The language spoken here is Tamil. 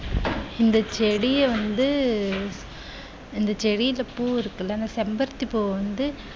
இந்த செடிய வந்து இந்த செடியில பூ இருக்குல்ல அந்த செம்பருத்தி பூவ வந்து